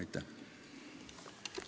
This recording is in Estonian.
Aitäh!